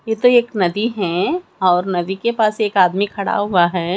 यह तो एक नदी हैं और नदी के पास एक आदमी खड़ा हुआ है।